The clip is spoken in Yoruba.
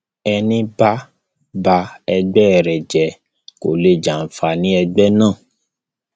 ẹní bá ba ẹgbẹ rẹ jẹ kó lè jẹ àǹfààní ẹgbẹ náà